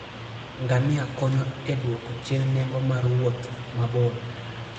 Ngamia konyo e dwoko chien nengo mar wuoth mabor.